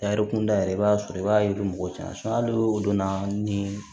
Tariku kunda yɛrɛ i b'a sɔrɔ i b'a yiri mɔgɔw cɛn hali o donna ni